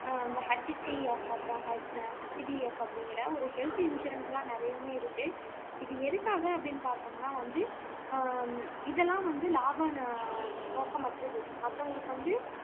அந்த HDF அப்படிங்கிற ஒரு ஹெல்த்தி இன்சூரன்ஸ் எல்லாம் நிறையவே இருக்கு இது எதுக்காக அப்படீன்னு பார்த்தோம்னா வந்து ஆஹ் இதெல்லாம் வந்து லாப நோக்கமற்றது மத்தவங்களுக்கு வந்து